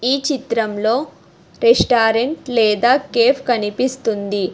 ఈ చిత్రంలో రెస్టారెంట్ లేదా కేఫ్ కనిపిస్తుంది.